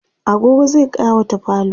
agogo zai ƙawata falo